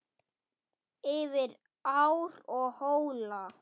Yfir ár og hóla.